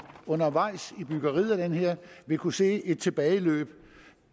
undervejs i byggeriet af det her vil kunne se et tilbageløb